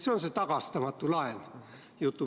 See on see "tagastamatu laen".